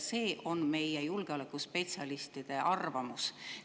See on meie julgeolekuspetsialistide arvamus.